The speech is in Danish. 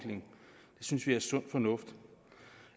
synes vi er sund fornuft